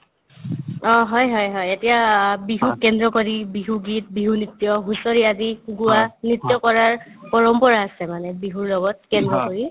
অ, হয় হয় হয় এতিয়া বিহুক কেন্দ্ৰ কৰি বিহু গীত, বিহু নৃত্য, হুঁচৰি আদি গোৱা, নৃত্য কৰাৰ পৰম্পৰা আছে মানে বিহুৰ লগত কেন্দ্ৰ কৰি